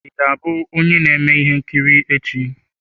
Ị ga-abụ onye na-eme ihe nkiri echi?